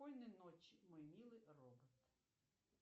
спокойной ночи мой милый робот